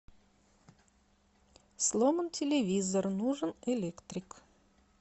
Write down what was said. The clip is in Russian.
сломан телевизор нужен электрик